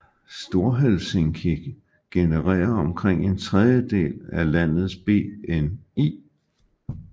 Storhelsinki genererer omkring en tredjedel af landets BNI